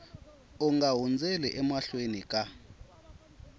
u nga hundzeli emahlweni ka